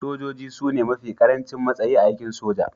Sojoji su ne mafi karancin matsayi a aikin soja